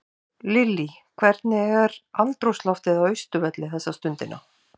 Lillý, hvernig er andrúmsloftið á Austurvelli þessa stundina?